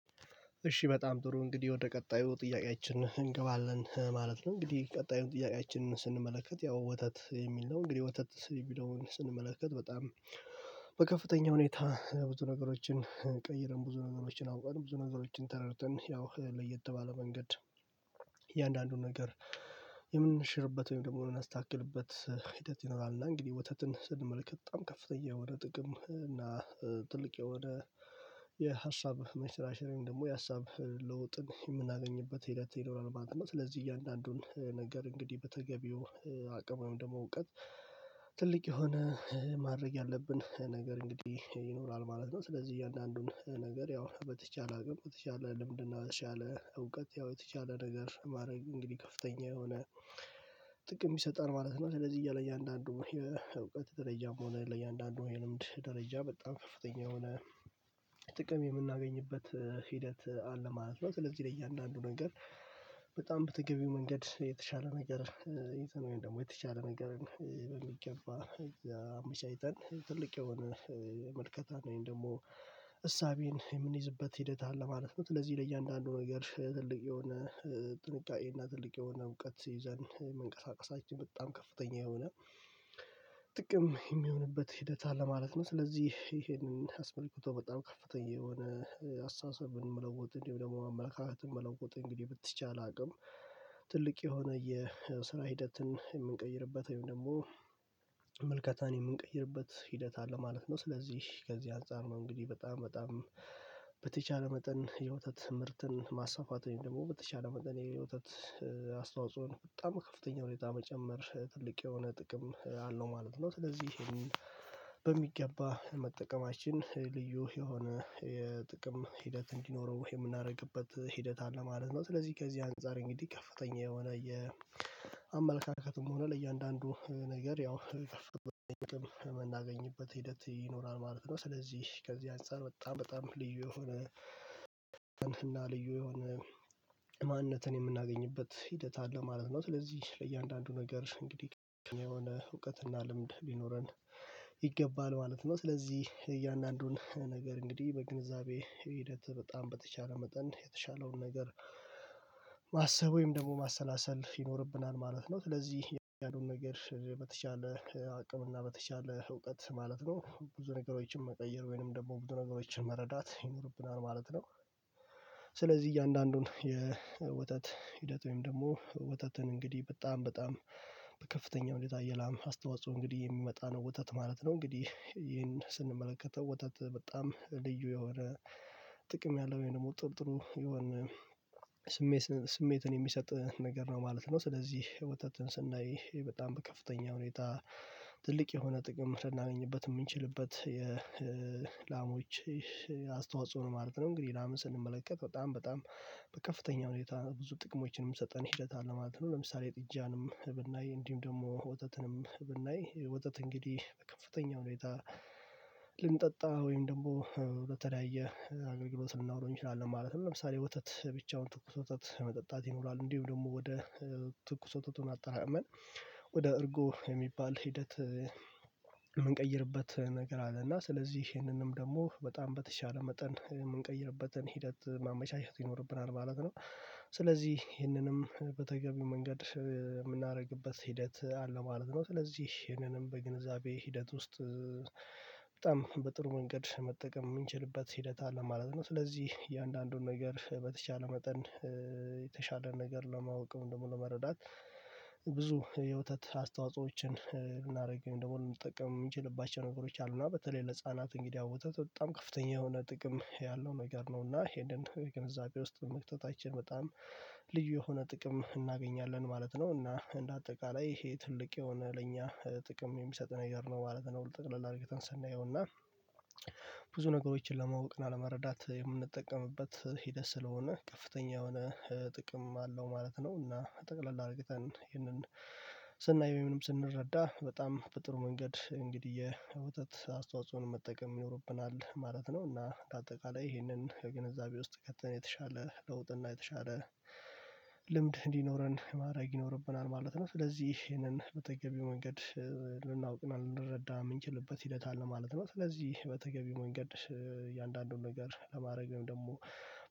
እሺ በጣም ጥሩ እንግዲህ ወደ ቀጣዩ ጥያቄያችን እንገባለን ማለት ነው። እንግዲህ ቀጣዩ ጥያቄያችንን ስንመለከት ያው ወተት የሚል ነው። እንግዲህ ወተት የሚለዉን ስንመለከት በጣም በከፍተኛ ሁኔታ ብዙ ነገሮችን ቀይረን ብዙ ነገሮችን አውቀን ብዙ ነገሮችን ተረድተን ያው ለየት ባለ መንገድ እያንዳንዱን ነገር የምንሽርበት ወይም ደግሞ የምናስታካክልበት ሂደት ይኖራል። እና እንግዲህ ወተትን ስንመለከት በጣም ከፍተኛ የሆነ ጥቅም እና ትልቅ የሆነ የሀሳብ መንሸራሸር ወይም ደግሞ የሀሳብ ለውጥን የምናገኝበት ሂደት ይኖራል። ማለት ስለዚህ እያንዳንዱን ነገር እንግዲህ በተገቢው አቅም ወይም ደግሞ እውቀት ትልቅ የሆነ ማድረግ ያለብን ነገር እንግዲህ ይኖራል ማለት ነው። ስለዚህ እያንዳንዱን ነገር ያው በተቻለ አቅም በተቻለ ልምድ እና በተቻለ እውቀት ያው የተቻለ ነገር ማድረግ እንግዲህ ከፍተኛ የሆነ ጥቅም ይሰጣል ማለት ነው። ስለዚህ እያለ እያንዳንዱ የእውቀት ደረጃም ሆነ ለእያንዳንዱ የልምድ ደረጃ በጣም ከፍተኛ የሆነ ጥቅም የምናገኝበት ሂደት አለ ማለት ነው። ስለዚህ ለእያንዳንዱ ነገር በጣም በተገቢው መንገድ የተሻለ ነገር ይዘን ወይም ደግሞ የተሻለ ነገርን በሚገባ አመቻችተን ትልቅ የሆነ መልከታን ወይም ደግሞ እሳቤን የምንይዝበት ሂደት አለ ማለት ነው። ስለዚህ ለእያንዳንዱ ነገር ትልቅ የሆነ ጥንቃቄ እና ትልቅ የሆነ እውቀት ይዘን መንቀሳቀሳችን በጣም ከፍተኛ የሆነ ጥቅም እሚሆንበት ሂደት አለ ማለት ነው። ስለዚህ ይሄንን አስመልክቶ በጣም ከፍተኛ የሆነ አስተሳሰብ መለወጥ እንዲሁም ደግሞ አመለካከትን መለወጥ እንግዲህ በተቻለ አቅም ትልቅ የሆነ የስራ ሂደትን እምንቀይርበት ወይም ደግሞ ምልከታን የምንቀይርበት ሂደት አለ ማለት ነው። ስለዚህ ከዚህ አንፃር ነው እንግዲህ በጣም በጣም በተቻለ መጠን የወተት ምርትን ማሰፋፋት ወይም ደግሞ በተቻለ መጠን ይሄ የወተት አስተዋጽኦን በጣም ከፍተኛ ሁኔታ መጨመር ትልቅ የሆነ ጥቅም አለው ማለት ነው። ስለዚህ የሄንን በሚገባ መጠቀማችን ልዩ የሆነ የጥቅም ሂደት እንዲኖረው ወይ የምናረግበት ሂደት አለ ማለት ነው። ስለዚህ ከዚህ አንፃር እንግዲህ ከፍተኛ የሆነ የአመለካከትም ሆነ ለእያንዳንዱ ነገር ያው ምናገኝበት ሂደት ይኖራል ማለት ነው። ስለዚህ ከዚህ አንፃር በጣም በጣም ልዩ የሆነ እና ልዩ የሆነ ማንነትን የምናገኝበት ሂደት አለ ማለት ነው። ስለዚህ ለእያንዳንዱ ነገር እንግዲህ ትክክል የሆነ እውቀትና ልምድ ቢኖረን ይገባል ማለት ነው። ስለዚህ እያንዳንዱን ነገር እንግዲህ በግንዛቤ ሂደት በጣም በተቻለ መጠን የተሻለውን ነገር ማሰብ ወይም ደግሞ ማሰላሰል ይኖርብናል ማለት ነው። ስለዚህ ያለዉን ነገር በተቻለ አቅም እና በተቻለ እውቀት ማለት ነው ብዙ ነገሮችን መቀየር ወይንም ደግሞ ብዙ ነገሮችን መረዳት ይኖርብናል ማለት ነው። ስለዚህ እያንዳንዱን የወተት ሂደት ወይም ደግሞ ወተትን እንግዲህ በጣም በጣም በከፍተኛው ሁኔታ የላም አስተዋጽኦ እንግዲህ የሚመጣ ነው ወተት ማለት ነው። እንግዲህ ይሄን ስንመለከተው ወተት በጣም ልዩ የሆነ ጥቅም ያለው ወይም ደግሞ ጥሩ ጥሩ የሆነ ስሜትን የሚሰጥ ነገር ነው ማለት ነው። ስለዚህ ወተትን ስናይ በጣም በከፍተኛ ሁኔታ ትልቅ የሆነ ጥቅም ልናገኝበት እምንችልበት የላሞች ማለት ነው። እንግዲህ ላምን ስንመለከት በጣም በጣም በከፍተኛ ሁኔታ ብዙ ጥቅሞችን ምሰጠን ሂደት አለ ማለት ነው። ለምሳሌ ጥጃንም ብናይ እንዲሁም ደግሞ ወተትንም ብናይ ወተት እንግዲህ በከፍተኛው ሁኔታ ልንጠጣ ወይም ደግሞ በተለያየ አገልግሎት ልናዉለው እንችላለን ማለት ነው። ለምሳሌ ወተት ብቻውን ትኩስ ወተት መጠጣት ይኖራል እንዲሁም ደግሞ ወደ ትኩስ ወተቱን አጠራቅመን ወደ እርጎ የሚባል ሂደት እምንቀይርበት ነገር አለ። እና ስለዚህ ይህንንም ደግሞ በጣም በተቻለ መጠን እምንቀይርበትን ሂደት ማመቻቸት ይኖርብናል ማለት ነው። ስለዚህ ይህንንም በተገቢው መንገድ የምናረግበት ሂደት አለ ማለት ነው። ስለዚህ ይህንንም በግንዛቤ ሂደት ውስጥ በጣም በጥሩ መንገድ መጠቀም እምንችልበት ሂደት አለ ማለት ነው። ስለዚህ እያንዳንዱን ነገር በተቻለ መጠን የተሻለ ነገር ለማወቅ ወይም ለመረዳት ብዙ የወተት አስተዋጾዎችን ልናረግ ወይም ደግሞ ልንጠቀም እምንችልባቸው ነገሮች አሉ። እና በተለይ ለህፃናት እንግዲ አሁን ወተት በጣም ከፍተኛ የሆነ ጥቅም ያለው ነገር ነው። እና ይሄንን ገንዘቤ ውስጥ መክተታችን በጣም ልዩ የሆነ ጥቅም እናገኛለን ማለት ነው። እና እንደ አጠቃላይ ይሄ ትልቅ የሆነ ለእኛ ጥቅም የሚሰጥ ነገር ነው ማለት ነው። ጥቅለል አርግተን ሰናየው እና ብዙ ነገሮችን ለማወቅ እና ለመረዳት የምንጠቀምበት ሂደት ስለሆነ ከፍተኛ የሆነ ጥቅም አለው ማለት ነው። እና ጠቅለል አርግተን ይህንን ስናይ ወይም ስንረዳ በጣም በጥሩ መንገድ እንግዲህ የዘተት አስተዋጽኦን መጠቀም ይኖርብናል ማለት ነው። እና በአጠቃላይ ይህንን ግንዛቤ ውስጥ ከተን የተሻለ ለውጥ እና የተሻለ ልምድ እንዲኖረን ማድረግ ይኖርብናል ማለት ነው። ስለዚህ ይሄንን በተገቢው መንገድ ልናውቅ ልንረዳ እምንችልበት ሂደት አለ ማለት ነው። ስለዚህ በተገቢ መንገድ እያንዳንዱን ነገር ለማድረግ ወይም ደግሞ